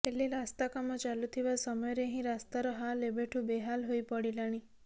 ହେଲେ ରାସ୍ତା କାମ ଚାଲୁଥିବା ସମୟରେ ହିଁ ରାସ୍ତାର ହାଲ ଏବେଠୁ ବେହାଲ ହୋଇ ପଡିଲାଣି